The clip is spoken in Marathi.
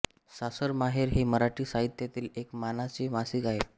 सासर माहेर हे मराठी साहित्यातील एक मानाचे मासिक आहे